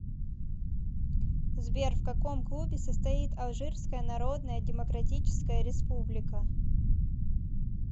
сбер в каком клубе состоит алжирская народная демократическая республика